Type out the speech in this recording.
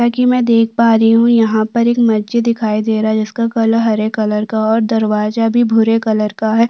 जैसा की मै देख पा रही हु यहाँ पर एक मस्जिद दिखाई दे रहा है जिसका कलर हरे कलर का है और दरवाजा भी भूरे कलर का है |